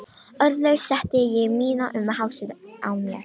Orðlaus setti ég mína um hálsinn á mér.